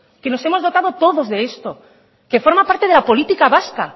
que los hemos dotado todos de esto que forma parte de la política vasca